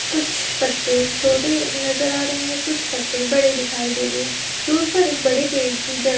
कुछ पत्ते छोटे नजर आ रहे है कुछ पत्ते बड़े दिखाई दे रहे है दूर पर एक बड़े पेड़ की जड़ --